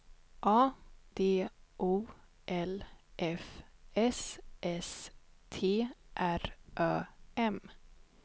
A D O L F S S T R Ö M